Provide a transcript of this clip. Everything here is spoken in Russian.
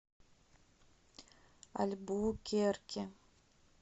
альбукерке